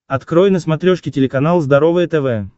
открой на смотрешке телеканал здоровое тв